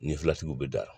Ni filatigiw bɛ da